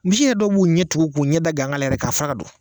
Misi dɔ yɛrɛ b'u ɲɛ tugu k'u ɲɛ da ganga la yɛrɛ k'a faran ka don